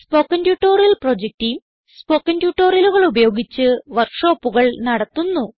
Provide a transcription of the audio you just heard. spoken tutorial project team spoken ട്യൂട്ടോറിയലുകൾ ഉപയോഗിച്ച് വർക്ക് ഷോപ്പുകൾ നടത്തുന്നു